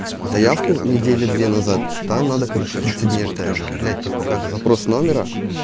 заявку недели две назад там надо короче тридцать дней ждать блять типа как запрос номера